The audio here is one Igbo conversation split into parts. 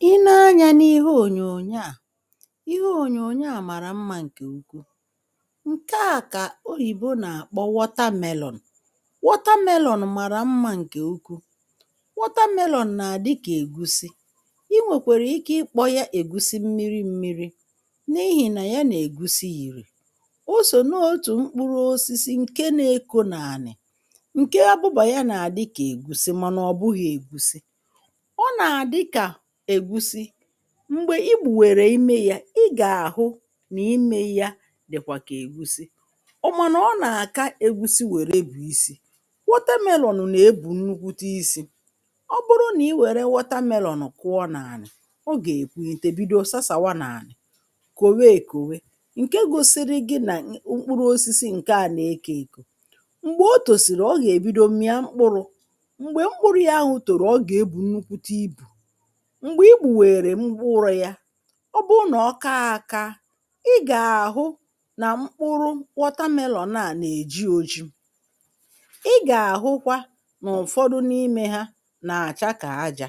I nee anyȧ n’ihe ònyònyo à, ihe ònyònyo à màrà mmȧ ǹkè ukwu. Nke à kà oyìbo nà-àkpọ watermelon. Watermelon màrà mmȧ ǹkè ukwu, watermelon nà-àdị kà ègusi, i nwèkwàrà ike ịkpọ ya ègusi mmiri mmiri n’ihì nà ya nà-ègusi yìrì. O sò n’otù mkpụrụ osisi ǹke nȧ-eko nàlà, ǹke abụbà ya nà-àdị kà ègusi mànà ọ bụghị̇ ègusi. Ọ nà-àdịkà ègusi m̀gbè i gbùwèrè imė yȧ ị gà-àhụ nà imė ya dị̀kwà kà ègusi ọ mànà ọ nà-àka ègusi wère bụ̀ isi̇. Watermelon nà-ebù nnukwute isi̇, ọ bụrụ nà i wère watermelon kụọ n’ànị̀ ọ gà-èkwu ntèbido sasàwa n’ànì, kòwe èkòwe ǹke gosiri gi nà mkpụrụ osisi ǹkè à na-ekė èkò. Mgbè o tòsìrì ọ gà-èbido m̀ịa mkpụrụ̇, m̀gbè i gbùwèrè mụrụ̇ ya ọ bụ nà ọ ka akȧ, ị gà-àhụ nà mkpụrụ watermelon naà nà-èji ojii, ị gà-àhụkwa nà ụ̀fọdụ n’imė ha nà-àcha kà ajȧ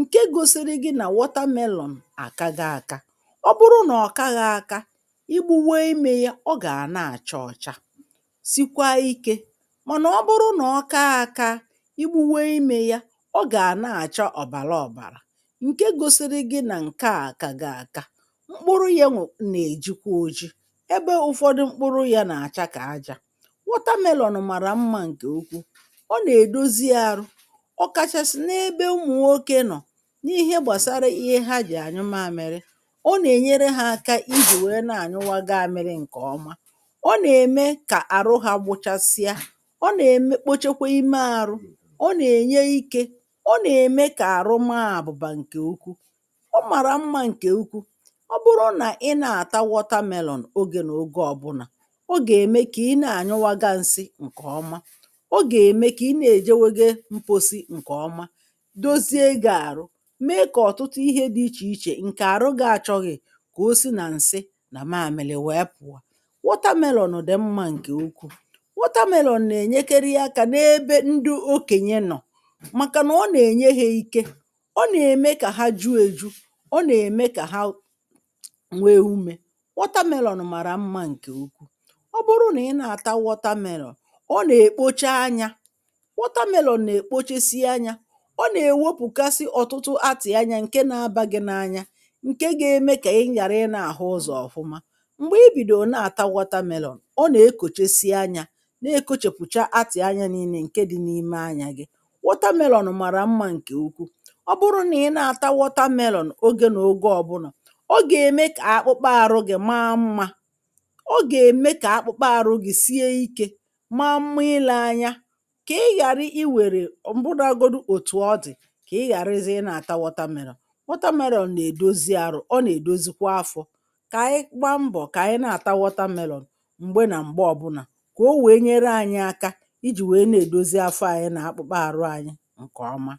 ǹke gosiri gị nà watermelon àkago aka. Ọ bụrụ nà ọ kaghị̇ aka, ọ bụrụ na ọkaghi aka, igbu̇ nwe imė yȧ ọ gàà na-àcha ọ̀cha, sikwa ikė mànà ọ bụrụ nà ọ kaa aka, igbu̇ nwe imė yȧ o ga na-acha ọbara ọbara ǹke gosiri gị nà ǹke à gị aka, mkpụrụ yȧ nwèrè nà-èjikwa ojii, ebe ụfọdụ mkpụrụ yȧ nà-àcha kà aja. Wọtamelọ̀nụ̀ màrà mmȧ ǹkè ukwu, ọ nà-èdozi arụ ọ kachasị n’ebe ụmụ̀ nwokė nọ̀ n’ihe gbàsara ihe ha jì ànyụ mamịrị. Ọ nà-ènyere ha aka ijì wèe na-ànyụwaga amịrị ǹkè ọma, ọ nà-ème kà àrụ ha gbụchasịa, ọ nà-ekpochekwa ime àrụ, ọ na-enye ike, ọ na-eme ka arụ maa abụba nke ukwu. Ọ màrà mmȧ ǹkè ukwu, ọ bụrụ nà ị na-àta watermelọn ogè n’oge ọ̀bụlà, ọ gà-ème kà ị na-ànyụwaga nsị ǹkè ọma, ọ gà-ème kà ị na-èjaweghe mposi ǹkè ọma, dozie gà-àrụ mee kà ọ̀tụtụ ihe dị ichè ichè ǹkè àrụ gị àchọghị kà o si nà ǹsị nà-maàmìlì wèe pụ̀ọ. Watermelon dị̀ mmȧ ǹkè ukwu̇, watermelon nà-ènyekere ya kà n’ebe ndị o kè nye nọ̀ maka na o na-enye ha ike, ọ nà-ème kà ha ju èju, ọ nà-ème kà ha ǹwee umė. Watermelon màrà mmȧ ǹkè ukwu, ọ bụrụ nà ị na-àtawa watermelon, ọ nà-èkpocha anyȧ. Watermelon nà-èkpochesie anyȧ, ọ nà-èwepùkasi ọ̀tụtụ atị̀ anya ǹke na-abȧ gị n’anya ǹke ga-eme kà ị nyàrà ị na-àhụ ụzọ̀ ọ̀fụma. Mgbè i bìdì ò na-àtawa watermelon, ọ nà-ekòchesie anyȧ na-ekȯchèpùcha atị̀ anya nii̇nė ǹke dị n’ime anyȧ gị. Watermelon watermelon màrà mmȧ ǹkè ukwu, ọ bụrụ nà i na-àtawọta melọn ogė nà oguo ọ̀bụnọ̀ ogè mẹ kà akpụkpa àrụ gị̇ ma mmȧ, ogè mẹ kà akpụkpa àrụ gị̇ sie ikė, ma mmụị lė anya, kà ị ghàrị i wèrè m̀bụ dị agodi òtù ọ dị̀ kà ị ghàrịzị ị na-àtawọta melọn. Wọtamelọn nà-èdozi arọ̀, ọ nà-èdozikwa afọ̇ kà anyị kpa mbọ̀ kà anyị na-àtawọta melọn m̀gbe nà m̀gbe ọbụnà kà o wèe nyere anyị aka ijì wèe na-èdozi afọ ànyị nà akpụkpa àrụ anyị ǹkè ọma.